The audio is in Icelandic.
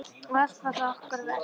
Og allt var það okkar verk.